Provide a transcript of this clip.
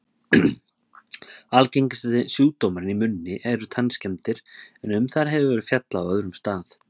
Algengasti sjúkdómurinn í munni eru tannskemmdir, en um þær hefur verið fjallað á öðrum stað.